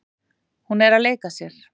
Hún er að leika sér.